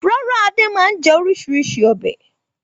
Rárá, Adé máa ń jẹ oríṣiríṣi ọbẹ̀.